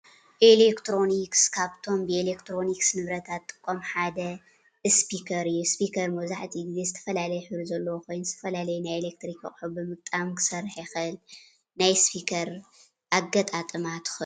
ኤሌክትሮኒክስ ካብቶም ብኤሌክትሮኒክስ ንብረታት ዝጥቀሙ ሓደ እስፒከር እዩ፡፡ እስፒከር መብዛሕትኡ ገዜ ዝተፈላለዩ ሕብሪ ዘለዎ ኮይኑ፤ ዝተፈላለዩ ናይ ኤሌክትሪክ አቁሑ ብምግጣም ክሰርሕ ይክእል፡፡ ናይ እስፒከር አገጣጥማ ትክእልዎ ዶ?